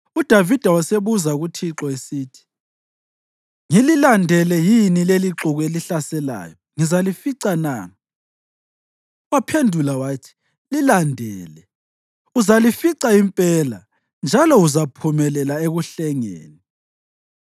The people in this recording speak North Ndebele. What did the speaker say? uDavida wasebuza kuThixo esithi, “Ngililandele yini lelixuku elihlaselayo? Ngizalifica na?” Waphendula wathi, “Lilandele. Uzalifica impela njalo uzaphumelela ekuhlengeni.”